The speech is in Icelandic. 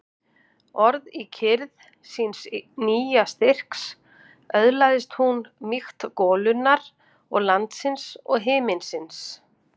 Og í kyrrð síns nýja styrks öðlaðist hún mýkt golunnar og landsins og himinsins.